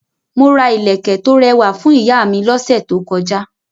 Mo ra ilẹ̀kẹ̀ tó rẹwà fún ìyá mi lọ́sẹ̀ tó kọjá.